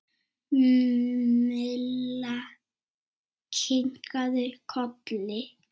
Milla kinkaði kolli.